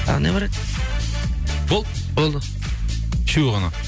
тағы не бар еді болды болды үшеу ғана